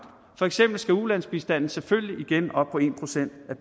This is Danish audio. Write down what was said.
for eksempel skal ulandsbistanden selvfølgelig igen op på en procent